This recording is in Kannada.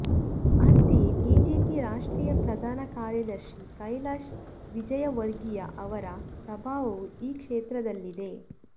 ಅಂತೆಯೇ ಬಿಜೆಪಿ ರಾಷ್ಟ್ರೀಯ ಪ್ರಧಾನ ಕಾರ್ಯದರ್ಶಿ ಕೈಲಾಶ್ ವಿಜಯವರ್ಗೀಯ ಅವರ ಪ್ರಭಾವವೂ ಈ ಕ್ಷೇತ್ರದಲ್ಲಿದೆ